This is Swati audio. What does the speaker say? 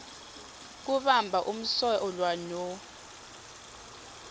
kubamba umsolwa no